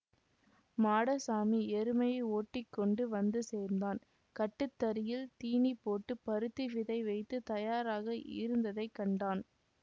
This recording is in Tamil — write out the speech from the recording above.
மாடசாமி எருமையை ஓட்டி கொண்டு வந்து சேர்ந்தான் கட்டுத்தறியில் தீனி போட்டு பருத்தி விதை வைத்து தயாராக இருந்ததை கண்டான்